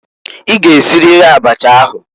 I g'esiriri abacha ahụǃ